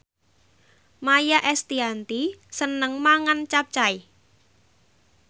Maia Estianty seneng mangan capcay